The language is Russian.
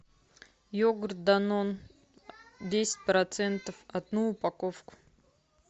йогурт данон десять процентов одну упаковку